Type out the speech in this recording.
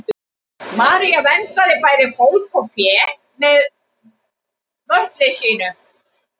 maría verndaði bæði fólk og fé með möttli sínum